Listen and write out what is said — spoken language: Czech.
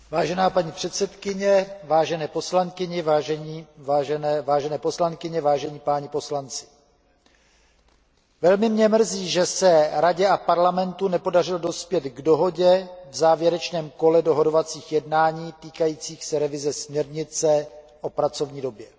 Vážená paní předsedkyně, vážené poslankyně, vážení páni poslanci, velmi mě mrzí, že se Radě a Parlamentu nepodařilo dospět k dohodě v závěrečném kole dohodovacích jednání týkajících se revize směrnice o pracovní době.